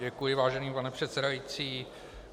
Děkuji, vážený pane předsedající.